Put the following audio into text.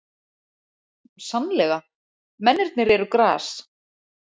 Sannlega, mennirnir eru gras.